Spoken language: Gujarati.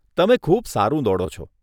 તમે ખૂબ સારું દોડો છો.